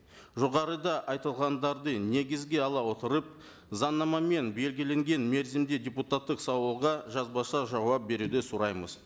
жоғарыда айтылғандарды негізге ала отырып заңнамамен белгіленген мерзімде депутаттық сауалға жазбаша жауап беруді сұраймыз